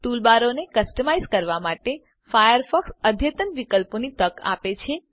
ટૂલબારોને customise કરવા માટે Firefox અદ્યતન વિકલ્પોની તક આપે છે